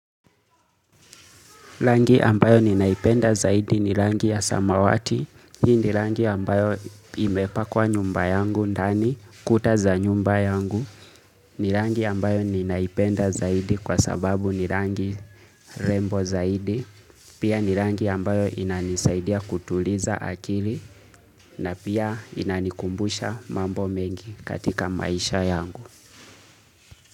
Rangi ambayo ninaipenda zaidi ni rangi ya samawati. Hii ni rangi ambayo imepakwa nyumba yangu ndani kuta za nyumba yangu. Ni rangi ambayo ninaipenda zaidi kwa sababu ni rangi rembo zaidi. Pia ni rangi ambayo inanisaidia kutuliza akili na pia inanikumbusha mambo mengi katika maisha yangu.